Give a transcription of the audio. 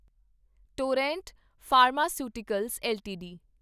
Torrent pharmaceuticals LTD